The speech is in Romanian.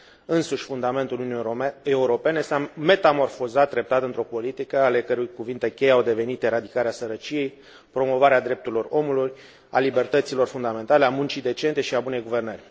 Însuși fundamentul Uniunii Europene s a metamorfozat treptat într o politică ale cărei cuvinte cheie au devenit eradicarea sărăciei, promovarea drepturilor omului, a libertăților fundamentale, a muncii decente și a bunei guvernări.